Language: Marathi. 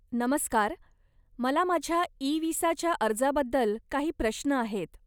नमस्कार, मला माझ्या इ विसाच्या अर्जाबद्दल काही प्रश्न आहेत.